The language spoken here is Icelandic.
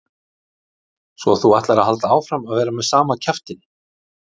Svo að þú ætlar að halda áfram að vera með sama kjaftinn!